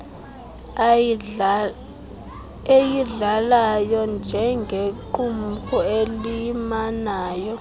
eyidlalayo njengequmrhu elimanyayo